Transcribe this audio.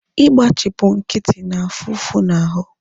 Igbachipu nkịtị na-afu ụfụ na ahụ